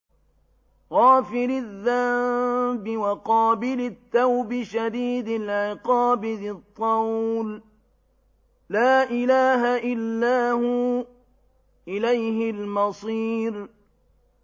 غَافِرِ الذَّنبِ وَقَابِلِ التَّوْبِ شَدِيدِ الْعِقَابِ ذِي الطَّوْلِ ۖ لَا إِلَٰهَ إِلَّا هُوَ ۖ إِلَيْهِ الْمَصِيرُ